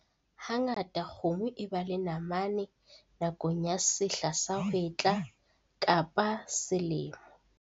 Hangata kgomo e ba le namane nakong ya sehla sa hwetla kapa sa selemo.